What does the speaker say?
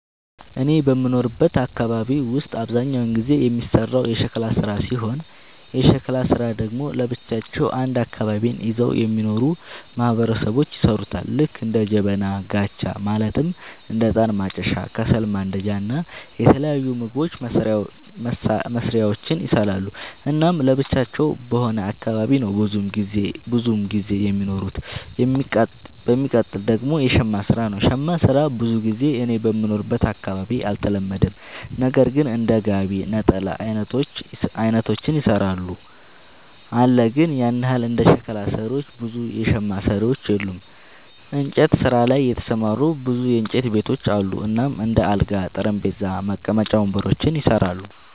እኔ በምኖርበት አካባቢ ውስጥ አብዛኛውን ጊዜ የሚሰራው የሸክላ ስራ ሲሆን የሸክላ ስራ ደግሞ ለብቻቸው አንድ አካባቢን ይዘው የሚኖሩ ማህበረሰቦች ይሠሩታል ልክ እንደ ጀበና፣ ጋቻ ማለትም እንደ እጣን ማጨሻ፣ ከሰል ማንዳጃ እና የተለያዩ ምግብ መስሪያዎችን ይሰራሉ። እናም ለብቻቸው በሆነ አካባቢ ነው ብዙም ጊዜ የሚኖሩት። የሚቀጥል ደግሞ የሸማ ስራ ነው, ሸማ ስራ ብዙ ጊዜ እኔ በምኖርበት አካባቢ አልተለመደም ነገር ግን እንደ ጋቢ፣ ነጠላ አይነቶችን ይሰራሉ አለ ግን ያን ያህል እንደ ሸክላ ሰሪዎች ብዙ የሸማ ሰሪዎች የሉም። እንጨት ስራ ላይ የተሰማሩ ብዙ የእንጨት ቤቶች አሉ እናም እንደ አልጋ፣ ጠረጴዛ፣ መቀመጫ ወንበሮችን ይሰራሉ።